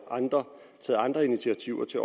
andre initiativer til